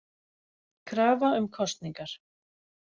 Krafa um kosningar